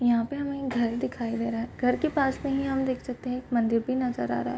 यहाँ पे हमे घर दिखाई दे रहा है घर के पास में ही हम देख सकते है एक मदिर भी नजर आ रहा है।